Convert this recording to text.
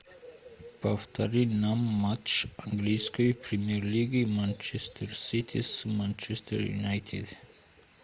повтори нам матч английской премьер лиги манчестер сити с манчестер юнайтед